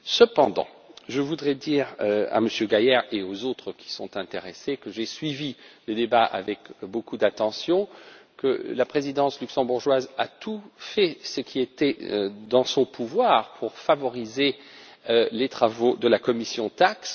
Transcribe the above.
Cependant, je voudrais dire à M. Gahler et aux autres personnes intéressées, que j'ai suivi les débats avec beaucoup d'attention, que la présidence luxembourgeoise a fait tout ce qui était en son pouvoir pour favoriser les travaux de la commission TAXE.